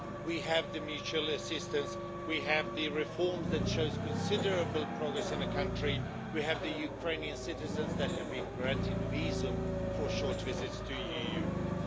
We have the mutual assistance, we have the reform that shows considerable progress in the country, and we have the Ukrainian citizens who have been granted visas for short visits to the EU.